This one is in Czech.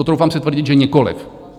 Troufám si tvrdit, že nikoliv.